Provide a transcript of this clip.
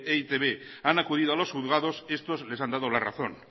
e i te be han acudido a los juzgados estos les han dado la razón